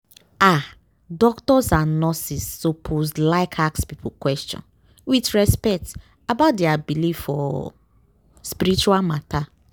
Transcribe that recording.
ah! doctors and nurses lsuppose like ask people question with respect about dia believe for spiritual matter.